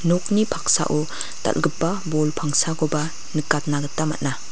nokni paksao dal·gipa bol pangsakoba nikatna gita man·a.